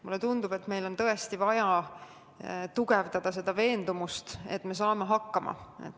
Mulle tundub, et meil on tõesti vaja tugevdada veendumust, et me saame hakkama.